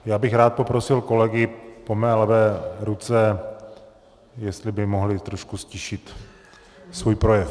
Já bych rád poprosil kolegy po mé levé ruce, jestli by mohli trošku ztišit svůj projev.